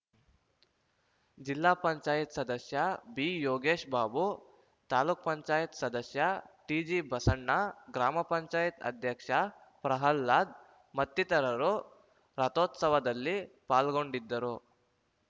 ಜಿಲ್ಲಾ ಪಂಚಾಯತ್ ಸದಸ್ಯ ಬಿಯೋಗೇಶ ಬಾಬು ತಾಲೂಕ್ ಪಂಚಾಯತ್ ಸದಸ್ಯ ಟಿಜಿಬಸಣ್ಣ ಗ್ರಾಮ ಪಂಚಾಯತ್ ಅಧ್ಯಕ್ಷ ಪ್ರಹ್ಲಾದ್‌ ಮತ್ತಿತರರು ರಥೋತ್ಸವದಲ್ಲಿ ಪಾಲ್ಗೊಂಡಿದ್ದರು